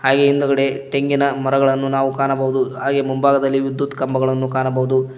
ಹಾಗೆ ಹಿಂದ್ಗಡೆ ತೆಂಗಿನ ಮರಗಳನ್ನು ನಾವು ಕಾಣಬಹುದು ಹಾಗೆ ಮುಂಭಾಗದಲ್ಲಿ ವಿದ್ಯುತ್ ಕಂಬಗಳನ್ನು ಕಾಣಬಹುದು.